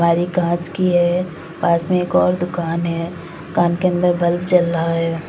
अलमारी कांच की है। पास में एक और दुकान है। दुकान के अन्दर बल्ब जल रहा है।